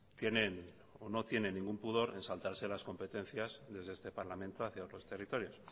no tienen ningún pudor en saltarse las competencias desde este parlamento hacia otros territorios